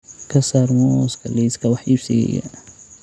ka saar muuska liiska wax iibsigayga